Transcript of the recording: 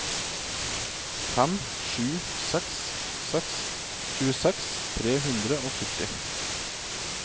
fem sju seks seks tjueseks tre hundre og sytti